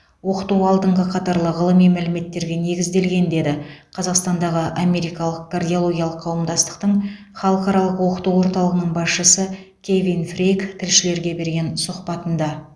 оқыту алдыңғы қатарлы ғылыми мәліметтерге негізделген деді қазақстандағы америкалық кардиологиялық қауымдастықтың халықаралық оқыту орталығының басшысы кевин фрейк тілшілерге берген сұхбатында